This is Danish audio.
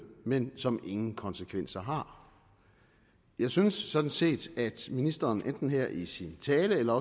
men som ingen konsekvenser har jeg synes sådan set at ministeren enten her i sin tale eller